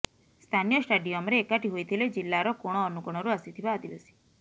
ସ୍ଥାନୀୟ ଷ୍ଟାଡିୟମରେ ଏକାଠି ହୋଇଥିଲେ ଜିଲ୍ଲାର କୋଣ ଅନୁକୋଣରୁ ଆସିଥିବା ଆଦିବାସୀ